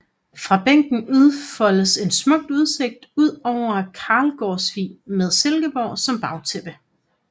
Fra bænken udfoldes en smuk udsigt ud over Kalgårdsvig med Silkeborg som bagtæppe